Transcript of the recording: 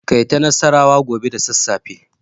Kai ta nassarawa gobe da sassafe.